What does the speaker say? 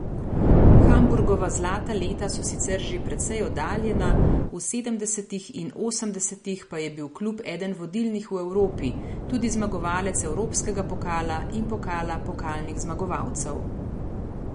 Hamburgova zlata leta so sicer že precej oddaljena, v sedemdesetih in osemdesetih pa je bil klub eden vodilnih v Evropi, tudi zmagovalec evropskega pokala in pokala pokalnih zmagovalcev.